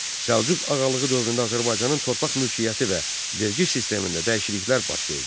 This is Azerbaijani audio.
Səlcuq ağalığı dövründə Azərbaycanın torpaq mülkiyyəti və vergi sistemində dəyişikliklər baş verdi.